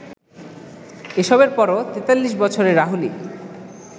এসবের পরও ৪৩ বছরের রাহুলই